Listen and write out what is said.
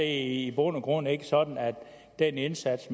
i bund og grund ikke sådan at den indsats